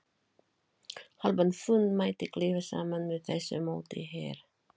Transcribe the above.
Hálfan fund mætti klippa saman með þessu móti hér